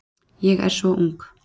Ég er svo ung.